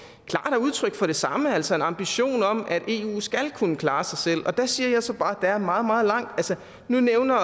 er udtryk for det samme altså en ambition om at eu skal kunne klare sig selv og der siger jeg så bare at der er meget meget langt altså nu nævner